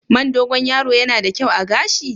Man Dogon yaro yana da kyau a gashi?